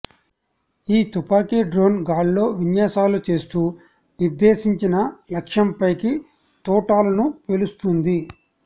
ఈ తుపాకీ డ్రోన్ గాల్లో విన్యాసాలు చేస్తూ నిర్దేశించిన లక్ష్యంపైకి తూటాలను పేలుస్తుంది